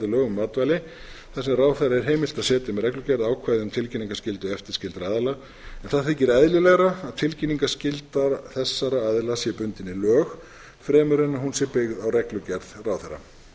lögum um matvæli þar sem ráðherra er heimilt að setja með reglugerð ákvæði um tilkynningarskyldu eftirlitsskyldra aðila en það þykir eðlilegra að tilkynningarskylda þessara aðila sé bundin í lög fremur en hún sé byggð á reglugerð ráðherra